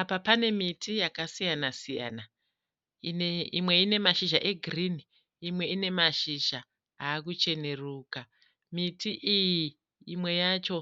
Apa pane miti yakasiyana-siyana. Imwe ine mashizha egirinhi , imwe ine ine mashizha akucheneruka. Miti iyi, imwe yacho